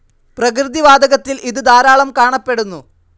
പ്രകൃതിവാതകത്തിൽ ഇത് ധാരാളം കാണപ്പെടുന്നു.